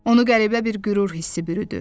Onu qəribə bir qürur hissi bürüdü.